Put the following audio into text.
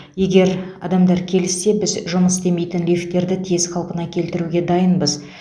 егер адамдар келіссе біз жұмыс істемейтін лифттерді тез қалпына келтіруге дайынбыз